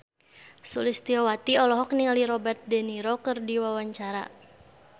Sulistyowati olohok ningali Robert de Niro keur diwawancara